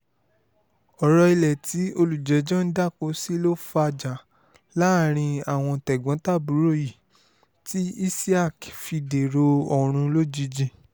ọ̀rọ̀ ilé tí olùjẹ́jọ́ ń dáko sí ló fàjà láàrin àwọn tẹ̀gbọ́n-tàbúrò yìí tí isiaq fi dèrò ọ̀run lójijì